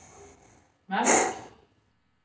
merk